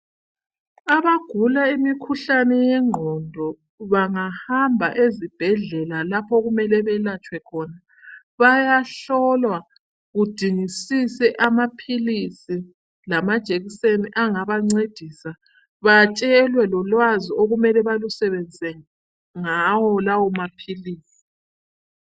abagula imikhuhlane yenqondo bangahamba ezibhedlela lapho okumele belatshwe khona bayahlolwa kudingisise amaphilisi lamajekiseni angabancedisa atshelwe lolwazi okumele balusebenzise ngawo lawo maphilisi